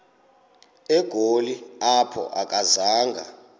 egoli apho akazanga